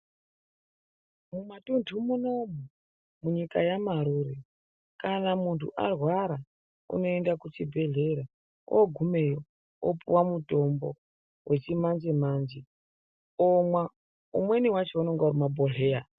Mumatuntu munomu munyika yamarure kana munthu arwara unoenda kuchibhedhlera oogumeyo opuwa mutombo wechimanjemanje omwa, umweni wacho unenge uri mumabhodhleya.